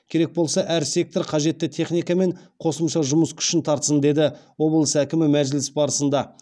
керек болса әр сектор қажетті техника мен қосымша жұмыс күшін тартсын деді облыс әкімі мәжіліс барысында